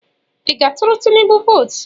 Ị ga-atụrụ Tinubu vootu?